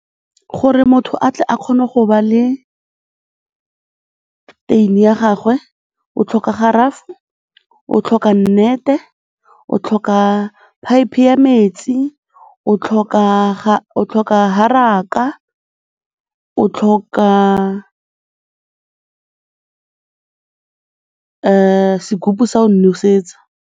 Gore motho a tle a kgone go ba le teine ya gagwe, o tlhoka , o tlhoka nnete, o tlhoka phaephe ya metsi, o tlhoka haraka, o tlhoka sekupu sa o nosetsa.